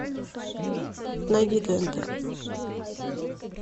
найди тнт